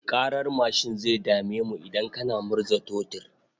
Ƙarar mashin zai dame mu idan kana murza totur.